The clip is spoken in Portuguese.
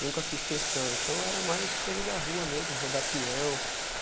Nunca fiz questão, então era mais coisa da rua mesmo, rodapião.